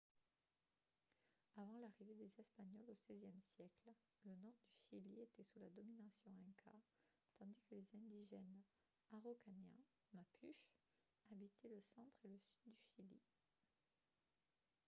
avant l’arrivée des espagnols au xvie siècle le nord du chili était sous la domination inca tandis que les indigènes araucaniens mapuche habitaient le centre et le sud du chili